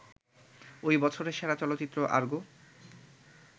ওই বছরের সেরা চলচ্চিত্র আরগো